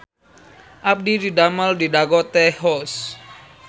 Abdi didamel di Dago Tea House